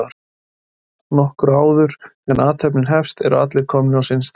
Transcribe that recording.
Nokkru áður en athöfn hefst eru allir komnir á sinn stað.